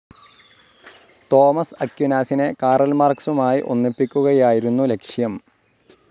Thomas അക്യുനാസിനെ Karl മാർക്സുമായി ഒന്നിപ്പിക്കുകയായിരുന്നു ലക്ഷ്യം.